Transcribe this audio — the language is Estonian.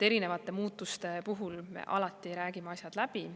Erinevate muutuste puhul me alati räägime asjad läbi.